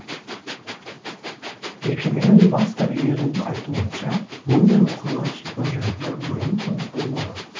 мекеменің бас дәрігерінің айтуынша мұндай оқиға шипажайда бұрын соңды болмаған